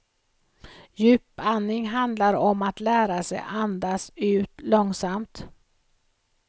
Djupandning handlar om att lära sig andas ut långsamt.